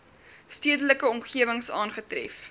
stedelike omgewings aangetref